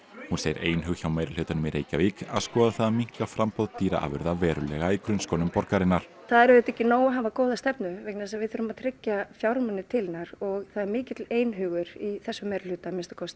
hún segir einhug hjá meirihlutanum í Reykjavík að skoða það að minnka framboð dýraafurða verulega í grunnskólum borgarinnar það er auðvitað ekki nóg að hafa góða stefnu vegna þess að við þurfum að tryggja fjármuni til hennar og það er mikill einhugur í þessum meirihluta að